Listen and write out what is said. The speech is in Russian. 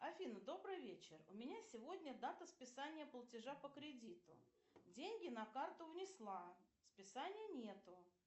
афина добрый вечер у меня сегодня дата списания платежа по кредиту деньги на карту внесла списания нету